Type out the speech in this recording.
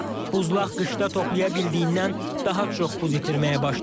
Buzlaq qışda toplaya biləndən daha çox buz itirməyə başladı.